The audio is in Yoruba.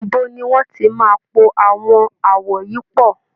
Ibo ni wọ́n ti máa po àwọn àwọ̀ yìí pọ̀?